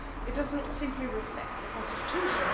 It does not simply reflect the constitution.